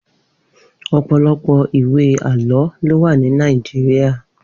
Opọlọpọ iwé àlọ ló wà ni Nàijiriá